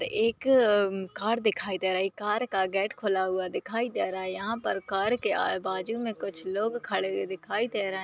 एक अ म कार दिखाई दे रही कार का गेट खुला हुआ दिखाई दे रहा है यहां पर कार के आए बाजू में कुछ लोग खड़े हुए दिखाई दे रहे है।